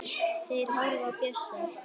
Þeir horfa á Bjössa.